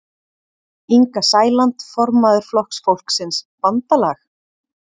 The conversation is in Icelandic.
Inga Sæland, formaður Flokks fólksins: Bandalag?